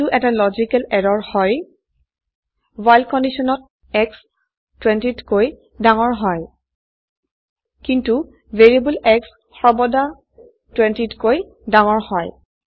এইটো এটা logical error হয় ৱ্হাইল কন্ডিশনত শ্ব 20তকৈ ডাঙৰ হয় কিন্তু ভেৰিয়েবল x সৰ্বদা 20 তকৈ ডাঙৰ হয়